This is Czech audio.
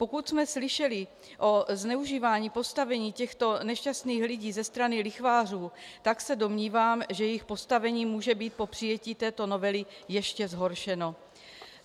Pokud jsme slyšeli o zneužívání postavení těchto nešťastných lidí ze strany lichvářů, tak se domnívám, že jejich postavení může být po přijetí této novely ještě zhoršeno.